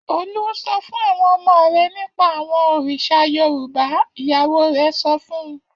Olú sọ fún àwọn ọmọ rẹ̀ nípa àwọn òrìṣà Yorùbá! Ìyàwó rẹ̀ sọ fún un.